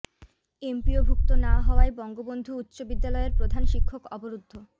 এমপিওভুক্ত না হওয়ায় বঙ্গবন্ধু উচ্চ বিদ্যালয়ের প্রধান শিক্ষক অবরুদ্ধ